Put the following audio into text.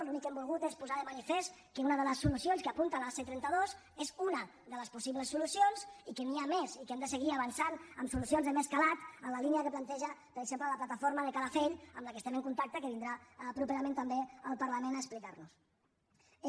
l’únic que hem volgut és posar de manifest que una de les solucions que apunta a la c trenta dos és unade les possibles solucions i que n’hi ha més i que hem de seguir avançant amb solucions de més calat en la línia que planteja per exemple la plataforma de calafell amb la que estem en contacte que vindrà properament també al parlament a explicar nos ho